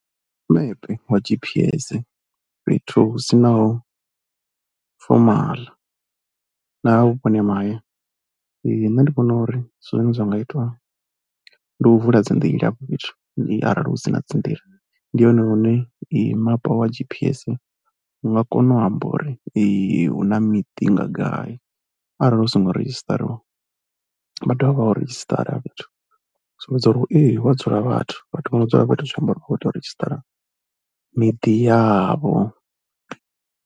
Mepe wa G_P_S fhethu hu si naho fomala na vhuponi ha mahaya. Nṋe ndi vhona uri zwine zwa nga itwa ndi u vula dzi nḓila afho fhethu arali hu si na dzi nḓila ndi hone lune mapa wa G_P_S wa nga kona u amba uri hu na miḓi nga gai arali hu songo redzhistariwa, vha tea uri vha hu redzhisitara hafho fhethu sumbedza uri hu a dzula vhathu. Vhathu vho no dzula fhethu zwi amba uri vha khou tea u redzhisitara miḓi yavho.